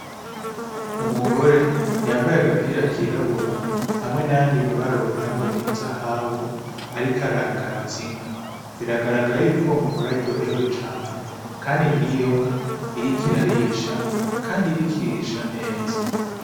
Umugore yambaye agapira kirabura, hamwe n'yandi mabara wogirango n'inzahabu, ariko aragaza inka. Biragaragara yuko, uwo muhira aryohewe cane. Kandi n'iyo nka iriko irarisha, kandi iriko irisha neza.